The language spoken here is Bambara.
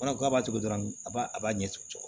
b'a to dɔrɔn a b'a ɲɛ cɔ